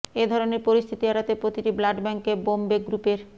এ ধরনের পরিস্থিতি এড়াতে প্রতিটি ব্লাড ব্যাঙ্কে বম্বে গ্রুপের